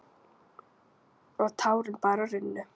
Og tárin bara runnu.